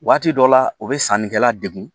Waati dɔ la o bɛ sannikɛla degun